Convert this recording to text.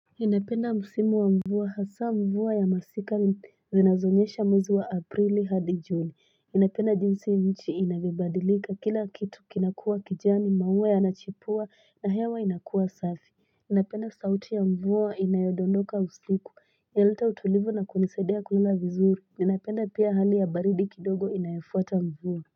Ninapenda msimu wa mvua hasa mvua ya masika. Zinazoonyesha mwezi wa Aprili hadi Juni. Ninapenda jinsi nchi inavyobadilika. Kila kitu kinakua kijani. Maua yanachipua na hewa inakuwa safi. Ninapenda sauti ya mvua inayodondoka usiku. Inaleta utulivu na kunisaidia kula vizuri. Ninapenda pia hali ya baridi kidogo inayofuata mvua.